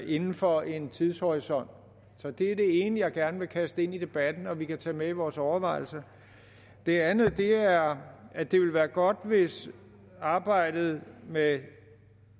inden for en tidshorisont det er det ene jeg gerne vil kaste ind i debatten og som vi kan tage med i vores overvejelser det andet er at det ville være godt hvis arbejdet med